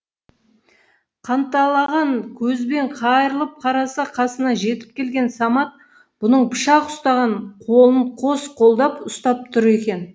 қанталаған көзбен қайырылып қараса қасына жетіп келген самат бұның пышақ ұстаған қолын қос қолдап ұстап тұр екен